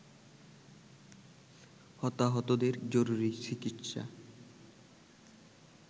হতাহতদের জরুরি চিকিৎসা